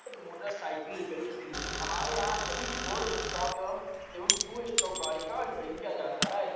आ ज motor cycle repairing centre है हमारे यहाँ सभी फोर स्टॉक एवं टू स्टॉक गाड़ी का रेपाइरिंग किया जाता है ।